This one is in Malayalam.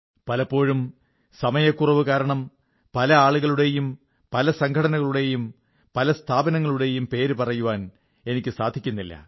പലപ്പോഴും സമയക്കുറവു കാരണം പല ആളുകളുടെയും പല സംഘടനകളുടെയും പല സ്ഥാപനങ്ങളുടെയും പേരു പറയാൻ എനിക്കു സാധിക്കുന്നില്ല